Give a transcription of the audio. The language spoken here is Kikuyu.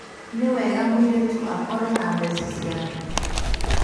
Nìwega mũirĩtu akorwo na mbeca ciake